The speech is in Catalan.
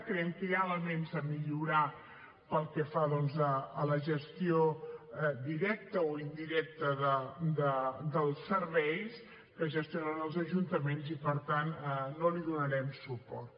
creiem que hi ha elements a millorar pel que fa doncs a la gestió directa o indirecta dels serveis que gestionen els ajuntaments i per tant no li donarem suport